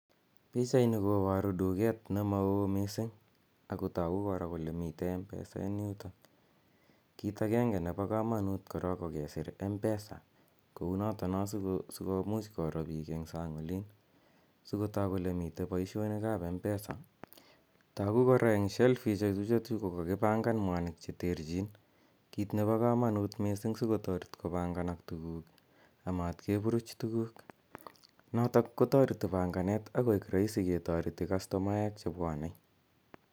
Pichaini koparu duket ne ma oo missing' ako tagu kora kole mitei Mpesa en yutok. Kit agenge nepo kamanut korok ko kesir 'mpesa' kou notono sikomuch koro pik eng' sang' olin asikotak kole mi poishonik ap mpesa. Tagu kora ke eng' shelfishechu ko kakipangan mwanik che terchin, kit nepo kamanut missing' asikotaret kopanganak tuguk amat kepuruch tuguk. Notok ko tareti panganet akoek raisi ketareti kastomaek che pwane.